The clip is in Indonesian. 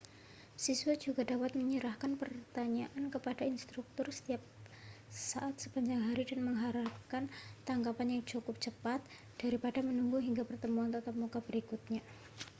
siswa juga dapat menyerahkan pertanyaan kepada instruktur setiap saat sepanjang hari dan mengharapkan tanggapan yang cukup cepat daripada menunggu hingga pertemuan tatap muka berikutnya